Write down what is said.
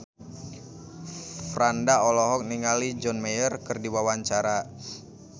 Franda olohok ningali John Mayer keur diwawancara